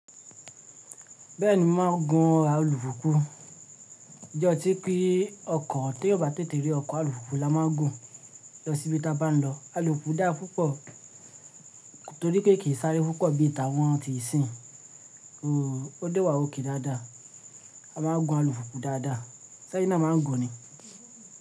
Bẹ́ẹ̀ni mo máa ń gun alupupu. Ǹjọ tí pé ọkọ̀ t'eeyan o bá tètè rí ọkọ̀ alùpùpù la máa ń gùn lọ sí ibi tí a bá ń lọ. Alùpùpù dá pupọ̀ torí pé kì í sáré púpọ̀ bí t'awọn ti ìsìn. O dé wà okay dáadáa. A máa ń gun alùpùpù dáadáa. Ṣé ẹyin naa ma n gùn ni máa ń gùn ni.